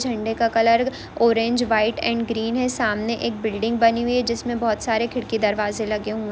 झंडे का colour orange white and green है सामने एक बिल्डिंग बनी हुई है जिसमे बहुत सारे खिड़की दरवाज़े लगे हुए--